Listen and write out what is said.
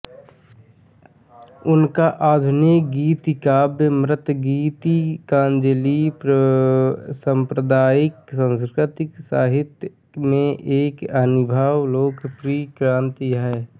उनका आधुनिक गीतिकाव्य मातृगीतिकांजलिः साम्प्रतिक संस्कृत साहित्य में एक अभिनव लोकप्रिय कृति है